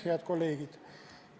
Head kolleegid!